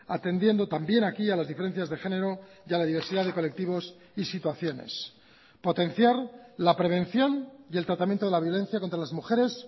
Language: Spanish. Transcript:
atendiendo también aquí a las diferencias de género y a la diversidad de colectivos y situaciones potenciar la prevención y el tratamiento de la violencia contra las mujeres